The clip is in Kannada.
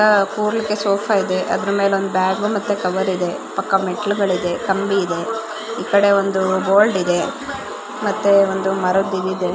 ಕೂರಲಿಕ್ಕೆ ಸೋಫಾ ಇದೆ ಮತ್ತೆ ಅದರ ಮೇಲೆ ಬ್ಯಾಗು ಮತ್ತೆ ಕವರ್ ಇದೆ ಪಕ್ಕ ಮೆಟ್ಟಿಲುಗಳಿದೆ ಕಂಬಿ ಇದೆ ಈ ಕಡೆ ಒಂದು ಬೋರ್ಡ್ ಇದೆ ಮತ್ತೆ ಒಂದು ಮರದ್ ಇದ್ ಇದೆ.